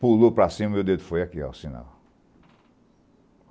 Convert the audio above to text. Pulou para cima e o meu dedo foi aqui assim ó